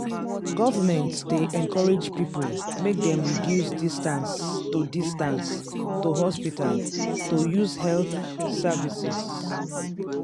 government dey encourage people make dem reduce distance to distance to hospital to use health services.